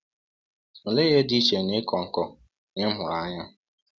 Olee ihe dị iche n’ịkọ nkọ na ịmụrụ anya?